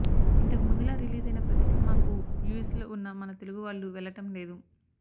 ఇంతకు ముందులా రిలీజైన ప్రతీ సినిమాకు యుస్ లో ఉన్న మన తెలుగు వాళ్లు వెళ్లటం లేదు